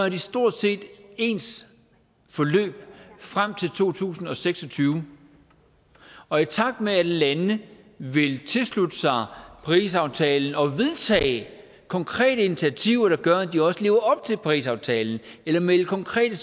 et stort set ens forløb frem til år to tusind og seks og tyve og i takt med at lande vil tilslutte sig parisaftalen og vedtage konkrete initiativer der gør at de også lever op til parisaftalen eller melde konkrete